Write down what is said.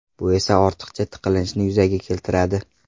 Bu esa ortiqcha tiqilinchni yuzaga keltiradi.